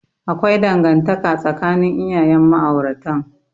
Akwai dangantaka tsakanin iyayen ma'auratan.